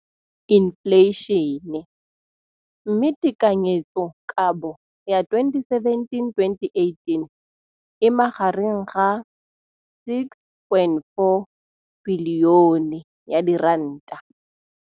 Infleišene, mme tekanyetsokabo ya 2017, 18, e magareng ga R6.4 bilione.